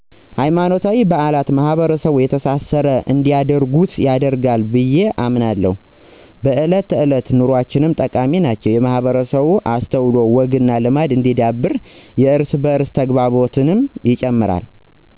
ሀይማኖታዊ በአላት ማሕበረሰቡን የተሳሰረ እንዲያደርጉት ያደርጋል ብየ አስባለሁ። በእለት ተዕለት ኑኖአችንም ጠቃሚ ናቸው የማህበረሰቡ እስትዐወግዐልማድ እንዲዳብር የእርስ በዕርስ ተግባቦትንም ይጨምራል።